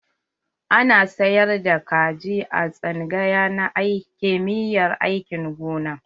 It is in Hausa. Ana sayar da kaji a tsangaya na kimiyyar aikin gona.